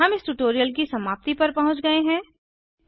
हम इस ट्यूटोरियल की समाप्ति पर पहुँच गए हैं